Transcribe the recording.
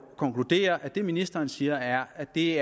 konkludere at det ministeren siger er at det